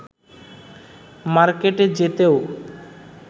মার্কেটে যেতেও